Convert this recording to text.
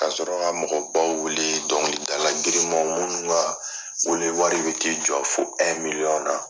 Ka sɔrɔ ka mɔgɔ baw wele , dɔnkilidala girimanw munnu ka wele wari bi t'i jɔ fo miliyɔn na.